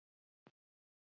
Spila ég á miðjunni aftur?